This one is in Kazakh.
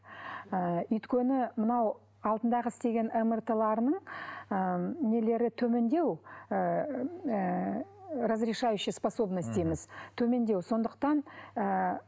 ыыы өйткені мынау алдындағы істеген мрт ларының ы нелері төмендеу ыыы ыыы разрешающие способностиіміз төмендеу сондықтан ыыы